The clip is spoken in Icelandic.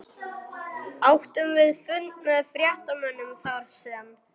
Áttum við fund með fréttamönnum þarsem